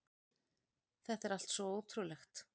Þetta er allt svo ótrúlegt